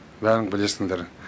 бәрін білесіңдер